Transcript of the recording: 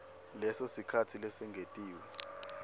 leso sikhatsi lesengetiwe